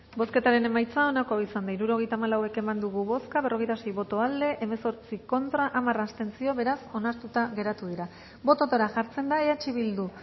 bozketaren emaitza onako izan da hirurogeita hamalau eman dugu bozka berrogeita sei boto aldekoa hemezortzi contra hamar abstentzio beraz onartuta geratu dira bototara jartzen da eh bildu